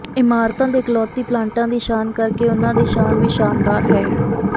ਇਮਾਰਤਾਂ ਦੇ ਇਕਲੌਤੀ ਪਲਾਂਟਾਂ ਦੀ ਸ਼ਾਨ ਕਰਕੇ ਉਨ੍ਹਾਂ ਦੀ ਸ਼ਾਨ ਵੀ ਸ਼ਾਨਦਾਰ ਹੈ